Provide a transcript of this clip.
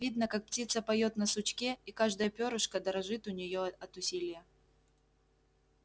видно как птица поёт на сучке и каждое пёрышко дорожит у неё от усилия